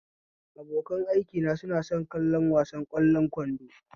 Abokan aikina suna son kallon wasan ƙwallon kwando